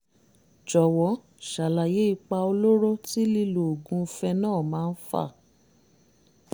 jọ̀wọ́ ṣàlàyé ipa olóró tí lílo oògùn phenol máa ń fà